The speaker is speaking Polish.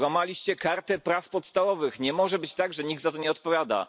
Złamaliście Kartę Praw Podstawowych, nie może być tak, że nikt za to nie odpowiada.